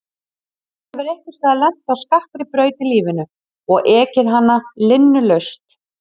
Þú hefur einhvers staðar lent á skakkri braut í lífinu og ekið hana linnulaust.